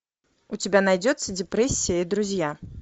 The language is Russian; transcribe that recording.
у тебя найдется депрессия и друзья